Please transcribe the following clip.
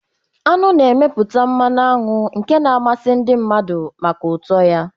Aṅụ na-emeputa mmanụ aṅụ nke na-amasị ndị mmadụ maka ụtọ ya.